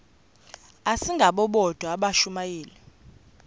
asingabo bodwa abashumayeli